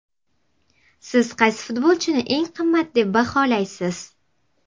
Siz qaysi futbolchini eng qimmat deb baholaysiz?